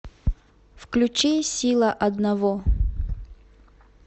включи сила одного